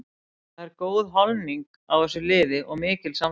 Það er góð holning á þessu liði og mikil samstaða.